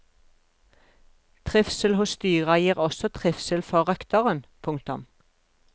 Trivsel hos dyra gir også trivsel for røkteren. punktum